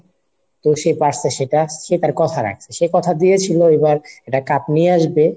তো সে পারছে সেটা সে তার কথা রাখছে, সে কথা দিয়েছিলো এবার একটা cup নিয়ে আসবে।